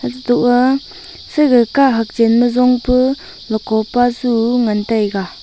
eto aa saga kahak chen ma jong pu loko pa su ngan taiga.